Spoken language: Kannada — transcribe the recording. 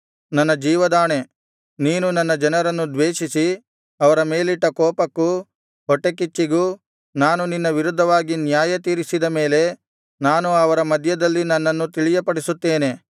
ನನ್ನ ಜೀವದಾಣೆ ನೀನು ನನ್ನ ಜನರನ್ನು ದ್ವೇಷಿಸಿ ಅವರ ಮೇಲಿಟ್ಟ ಕೋಪಕ್ಕೂ ಹೊಟ್ಟೆಕಿಚ್ಚಿಗೂ ನಾನು ನಿನ್ನ ವಿರುದ್ಧವಾಗಿ ನ್ಯಾಯ ತೀರಿಸಿದ ಮೇಲೆ ನಾನು ಅವರ ಮಧ್ಯದಲ್ಲಿ ನನ್ನನ್ನು ತಿಳಿಯಪಡಿಸುತ್ತೇನೆ